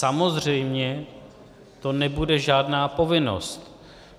Samozřejmě to nebude žádná povinnost.